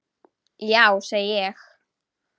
Já, segi ég.